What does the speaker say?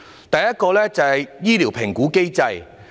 第一，醫療評估機制。